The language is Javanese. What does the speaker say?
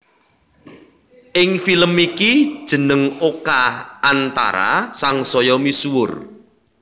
Ing film iki jeneng Oka Antara sangsaya misuwur